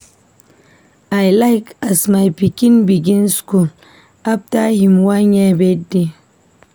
I like as my pikin begin skool afta him one year birthday.